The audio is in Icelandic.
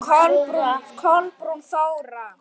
Kolbrún Þóra.